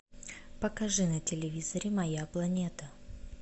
покажи на телевизоре моя планета